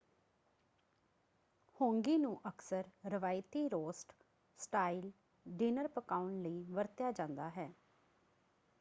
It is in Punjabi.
ਹਾਂਗੀ ਨੂੰ ਅਕਸਰ ਰਵਾਇਤੀ ਰੋਸਟ ਸਟਾਈਲ ਡਿਨਰ ਪਕਾਉਣ ਲਈ ਵਰਤਿਆ ਜਾਂਦਾ ਹੈ।